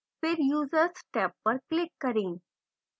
फिर users tab पर click करें